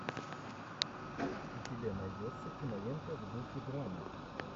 у тебя найдется кинолента в духе драмы